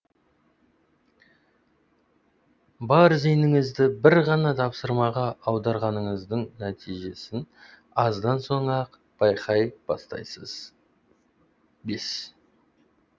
бар зейініңізді бір ғана тапсырмаға аударғаныңыздың нәтижесін аздан соң ақ байқай бастайсыз бес